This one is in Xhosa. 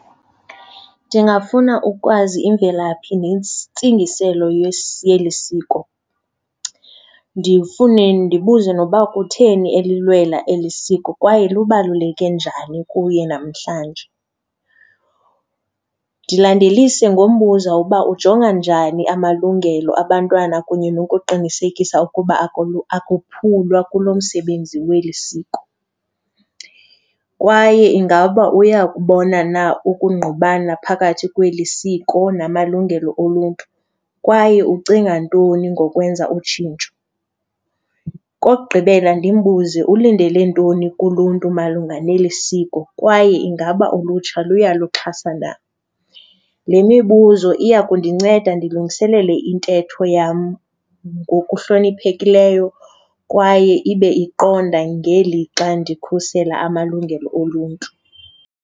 Ndingafuna ukwazi imvelaphi nentsingiselo yeli siko. Ndifune ndibuze noba kutheni elilwela eli siko kwaye lubaluleke njani kuye namhlanje. Ndilandelise ngombuza uba ujonga njani amalungelo abantwana kunye nokuqinisekisa ukuba akuphulwa kulo msebenzi weli siko kwaye ingaba uyakubona na ukungqubana phakathi kweli siko namalungelo oluntu, kwaye ucinga ntoni ngokwenza utshintsho. Okokugqibela ndimbuze ulindele ntoni kuluntu malunga neli siko kwaye ingaba ulutsha luyaluxhasa na. Le mibuzo iya kundinceda ndilungiselele intetho yam ngokuhloniphekileyo kwaye ibe iqonda ngelixa ndikhusela amalungelo oluntu.